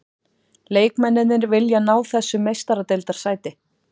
Leikmennirnir vilja ná þessu meistaradeildarsæti.